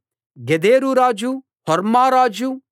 గెదెరు రాజు హోర్మా రాజు